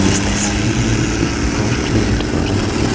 इस तस्वीर में एक पार्क नजर आ रहा है।